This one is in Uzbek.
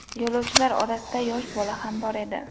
Yo‘lovchilar orasida yosh bola ham bor edi.